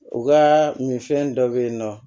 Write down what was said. U ka minfɛn dɔ bɛ yen nɔ